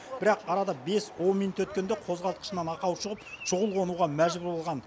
бірақ арада бес он минут өткенде қозғалтқышынан ақау шығып шұғыл қонуға мәжбүр болған